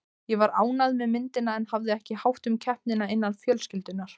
Ég var ánægð með myndina en hafði ekki hátt um keppnina innan fjölskyldunnar.